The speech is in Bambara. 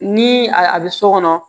Ni a bɛ so kɔnɔ